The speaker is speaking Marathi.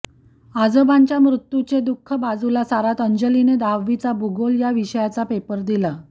आजोबांच्या मृत्यूचे दुःख बाजूला सारत अंजलीने दहावीचा भूगोल या विषयाचा पेपर दिला